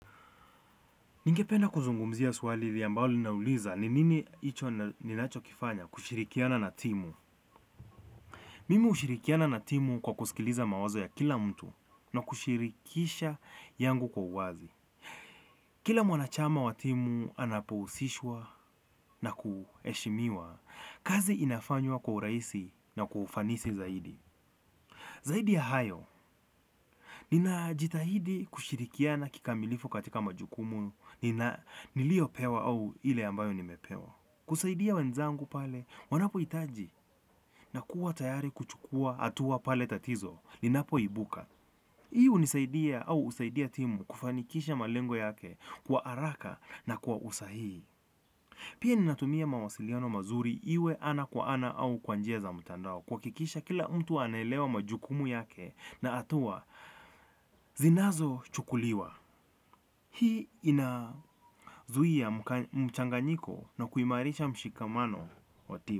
Ningependa kuzungumzia swali hili ambalo lina uliza ni nini hicho ninachokifanya kushirikiana na timu. Mimi hushirikiana na timu kwa kusikiliza mawazo ya kila mtu na kushirikisha yangu kwa uwazi. Kila mwanachama wa timu anapohusishwa na kuheshimiwa. Kazi inafanywa kwa uraisi na kwa ufanisi zaidi. Zaidi ya hayo, ninajitahidi kushirikiana kikamilifu katika majukumu nilio pewa au ile ambayo nimepewa. Kusaidia wenzangu pale, wanapo hitaji na kuwa tayari kuchukua hatua pale tatizo, linapo ibuka. Hii hunisaidia au husaidia timu kufanikisha malengo yake kwa haraka na kwa usahihi. Pia ninatumia mawasiliano mazuri iwe ana kwa ana au kwa njia za mtandao. Kuhakisha kila mtu anaelewa majukumu yake na hatua, zinazo chukuliwa. Hii inazuia mchanganyiko na kuimarisha mshikamano wa timu.